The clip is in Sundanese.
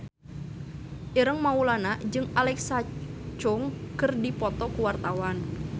Ireng Maulana jeung Alexa Chung keur dipoto ku wartawan